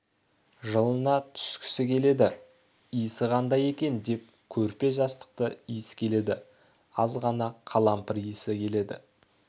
жылына түскісі келеді иісі қандай екен деп көрпе-жастықты иіскеледі аз ғана қалампыр иісі келеді